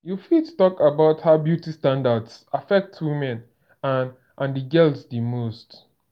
you fit talk about how beauty standards affect women and and girls di most.